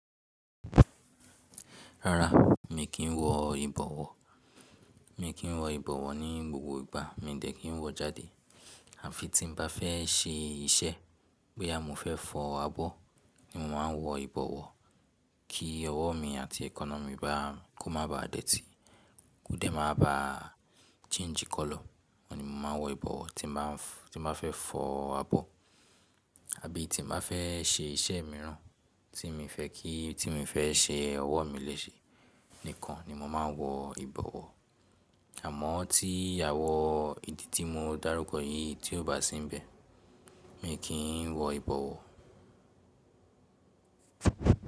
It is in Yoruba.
Rárá, mi kì í wọ ìbọ̀wọ̀. Mi kì í wọ ìbọ̀wọ̀ ní gbogbo ìgbà. Mi n de kì í wò jáde àfí tí n bá fẹ́ ṣe iṣẹ́, bóyá mo fẹ́ fọ abọ́ ni mo máa wọ ìbọ̀wọ̀ kí ọwọ́ mi àti èékánná mi kó má ba dẹ́tì, kó dẹ́ má ba change colour. Óun ni mo máa wọ ìbọ̀wọ̀ tí n bá fẹ́ fọ abọ́ àbí tí n bá fẹ ṣe iṣẹ́ míràn, tí mi fẹ́ kí, tí mi fẹ́ ṣe òwọ́ mi lẹ́sẹ́ nìkan ni mo máa ń wọ ìbọ̀wọ́. Àmọ́ tí àwọn ìdí tí mo dárúkọ yìí tí ò bá síńbẹ̀, mi ò kì í wọ ìbọ̀wọ́.